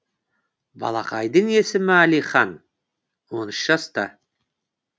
балақайдың есімі әлихан он үш жаста